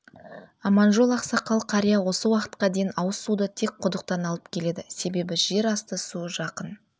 аманжол ақсақал қария осы уақытқа дейін ауызсуды тек құдықтан алып келеді себебі жерасты суы жақын